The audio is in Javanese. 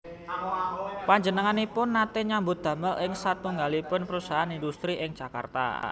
Panjenenganipun nate nyambut damel ing satunggalipun perusahaan indhustri ing Jakarta